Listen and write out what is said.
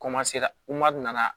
Komasera nana